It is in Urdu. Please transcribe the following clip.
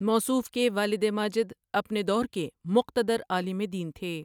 موصوف کے والد ماجد اپنے دور کے مقتدر عالم دین تھے ۔